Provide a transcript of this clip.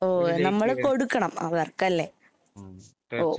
ഓ നമ്മള് കൊടുക്കണം അവർക്കല്ലെ? ഓ.